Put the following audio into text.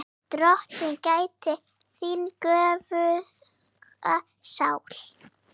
Karen: Hvernig líður þér núna?